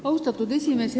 Austatud esimees!